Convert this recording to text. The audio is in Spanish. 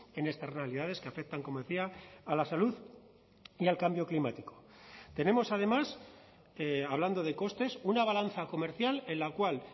en estas realidades que afectan como decía a la salud y al cambio climático tenemos además hablando de costes una balanza comercial en la cual